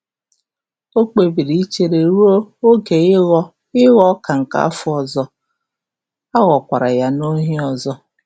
O kpebiri ichere ruo oge ịghọ ịghọ ọka nke afọ ọzọ, a ghọkwara ya n’ohi ọzọ.